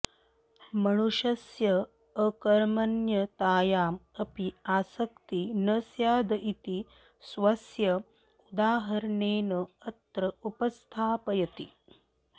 मनुष्यस्य अकर्मण्यतायाम् अपि आसक्ति न स्याद् इति स्वस्य उदाहरणेन अत्र उपस्थापयति